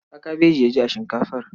Sa kabeji ya ji a shinkafar.